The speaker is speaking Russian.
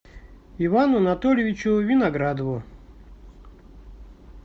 ивану анатольевичу виноградову